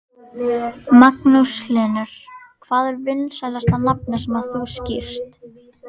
Magnús Hlynur: Hvað er vinsælasta nafnið sem þú skírt?